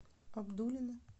абдулино